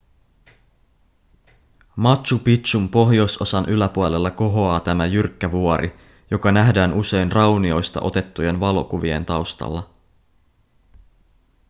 machu picchun pohjoisosan yläpuolella kohoaa tämä jyrkkä vuori joka nähdään usein raunioista otettujen valokuvien taustalla